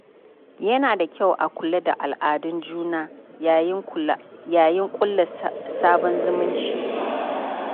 Yana da kyau a kula da al’adun juna yayin ƙulla sabon zumunci.